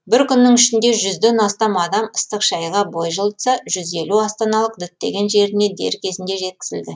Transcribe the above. бір күннің ішінде жүзден астам адам ыстық шайға бой жылытса жуз елу астаналық діттеген жеріне дер кезінде жеткізілді